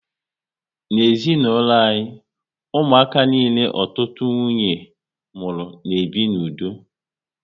N'ezinaulo anyị, ụmụaka niile ọtụtụ nwunye mụrụ na ebi n'udo